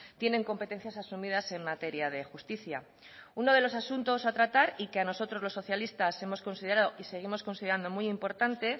tienen competencias asumidas en materia de justicia uno de los asuntos a tratar y que a nosotros los socialistas hemos considerado y seguimos considerando muy importante